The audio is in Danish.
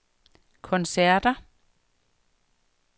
koncerter